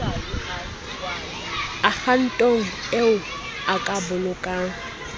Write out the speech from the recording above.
akhaonto eo o ka bolokang